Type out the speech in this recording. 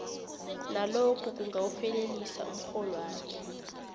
nalokhu kungawufelelisa umrholwakho